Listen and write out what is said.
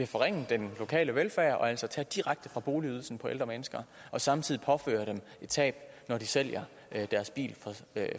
forringe den lokale velfærd og altså tage direkte fra boligydelsen for ældre mennesker og samtidig påføre dem et tab når de sælger deres bil